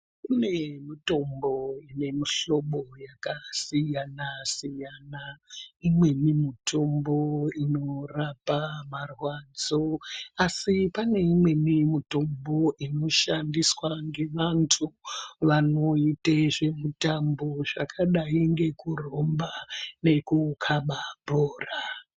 Kune mitombo yemihlobo yakasiyana siyana imweni mitombo inorapa marwadzo asi pane imweni mitombo inoshandiswa ngevantu vanoite zvimutambo zvakadai ngekuromba ngekukaba bhora.